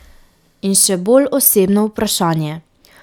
In še bolj osebno vprašanje.